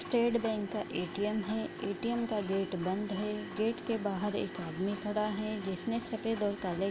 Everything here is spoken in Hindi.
स्टेट बँक का ए.टी.एम. है ए.टी.एम. का गेट बंद है गेट के बाहर एक आदमी खड़ा है जिसने सफ़ेद और काले --